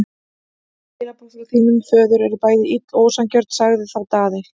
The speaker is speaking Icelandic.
Öll skilaboð frá þínum föður eru bæði ill og ósanngjörn, sagði þá Daði.